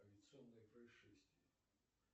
авиационные происшествия